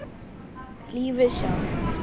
Lífið sjálft.